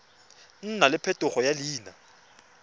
nna le phetogo ya leina